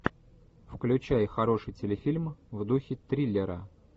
включай хороший телефильм в духе триллера